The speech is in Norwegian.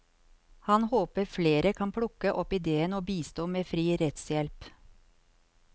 Han håper flere kan plukke opp idéen og bistå med fri rettshjelp.